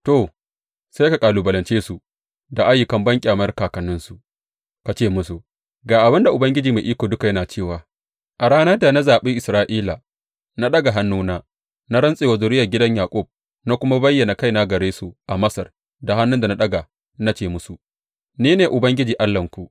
To, sai ka kalubalance su da ayyukan banƙyamar kakanninsu ka ce musu, Ga abin da Ubangiji Mai Iko Duka yana cewa a ranar da na zaɓi Isra’ila, na ɗaga hannuna, na rantse wa zuriyar gidan Yaƙub na kuma bayyana kaina gare su a Masar da hannun da na ɗaga na ce musu, Ni ne Ubangiji Allahnku.